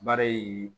Baara ye